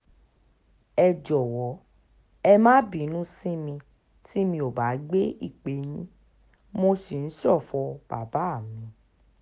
ẹ jọ̀wọ́ ẹ má bínú sí mi tí mi ò bá gbé ìpè yín mo sì ń ṣọ̀fọ̀ bàbá mi